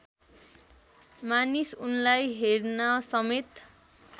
मानिस उनलाई हेर्नसमेत